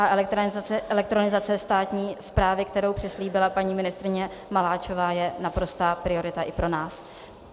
A elektronizace státní správy, kterou přislíbila paní ministryně Maláčová, je naprostá priorita i pro nás.